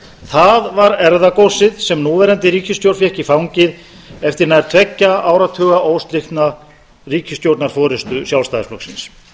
það var erfðagóssið sem núverandi ríkisstjórn fékk í fangið eftir nær tveggja áratuga óslitna ríkisstjórnarforustu sjálfstæðisflokksins